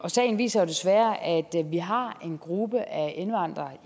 sagen viser jo desværre at vi har en gruppe af indvandrere